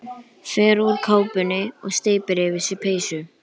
Fer úr kápunni og steypir yfir sig peysu.